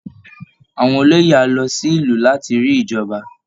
Àwọn olóyè á lọ sí ìlú láti rí ìjọba